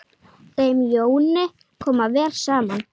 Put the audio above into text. Þeim Jóni kom vel saman.